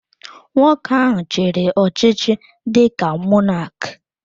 Nwoke ahụ chiri ọchịchị dịka Mọnak